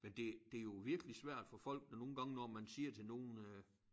Men det det jo virkelig svært for folk når nogle gange når man siger til nogen